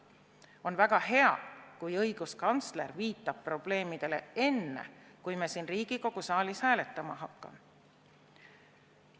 On väga hea, kui õiguskantsler viitab probleemidele enne, kui me siin Riigikogu saalis hääletama hakkame.